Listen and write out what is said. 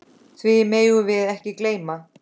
Því megum við ekki gleyma.